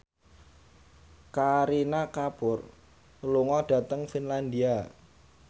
Kareena Kapoor lunga dhateng Finlandia